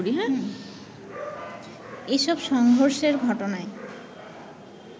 এসব সংঘর্ষের ঘটনায়